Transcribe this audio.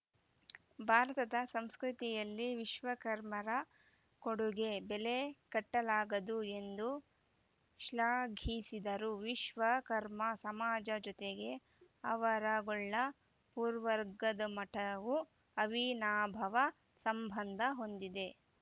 ಭಾರತದ ಸಂಸ್ಕೃತಿಯಲ್ಲಿ ವಿಶ್ವಕರ್ಮರ ಕೊಡುಗೆ ಬೆಲೆ ಕಟ್ಟಲಾಗದ್ದು ಎಂದು ಶ್ಲಾಘಿಸಿದರು ವಿಶ್ವ ಕರ್ಮ ಸಮಾಜ ಜೊತೆಗೆ ಆವರಗೊಳ್ಳ ಪುರವರ್ಗಮಠವು ಅವಿನಾಭಾವ ಸಂಬಂಧ ಹೊಂದಿದೆ